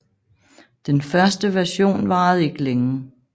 Den første version varede ikke længe